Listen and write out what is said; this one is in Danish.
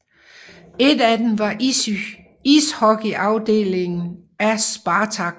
Et af dem var ishockeyafdelingen af Spartak